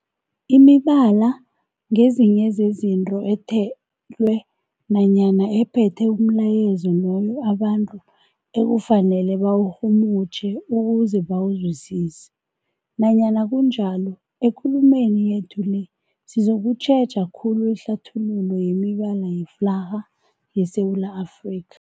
Imibala ngezinye zezinto ethelwe nanyana ephethe umlayezo loyo abantu ekufanele bawurhumutjhe ukuze bawuzwisise. Nanyana kunjalo, ekulumeni yethu le sizokutjheja khulu ihlathululo yemibala yeflarha yeSewula Afrika.